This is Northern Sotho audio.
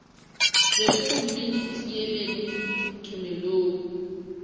bešo gomme le tieleleng tumelong